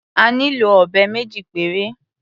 A nílò ọ̀bẹ méjì péré.